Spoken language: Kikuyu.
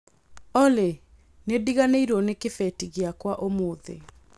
Olly, nĩ ndiganĩirio nĩ kĩbeti gĩakwa ũmũthĩ